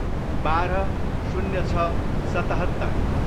बाह्र, शून्य छ, सतहत्तर